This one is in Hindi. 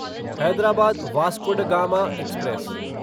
Hyderabad Vasco da Gama express